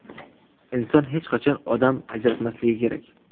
Inson hech qachon odam ajratmasligi kerak.